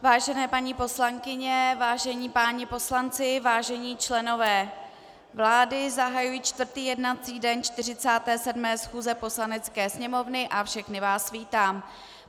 Vážené paní poslankyně, vážení páni poslanci, vážení členové vlády, zahajuji 4. jednací den 47. schůze Poslanecké sněmovny a všechny vás vítám.